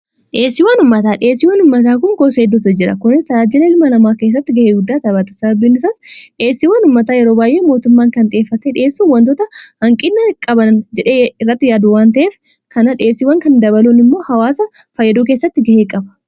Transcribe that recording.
dheessii wan ummataa dheesiiwwan ummataa kun koo seedoota jira kuni taraajila ilma namaa keessatti gahee guddaata bata sababinisaas dheessii wan ummataa yero baay'ee mootummaan kan xieffate dhiessuu wantoota hanqinna qaban jedhee irratti yaadu wanta'ef kana dheesiiwwan kan dabaluun immoo hawaasa faayyadou keessatti ga'ee qaba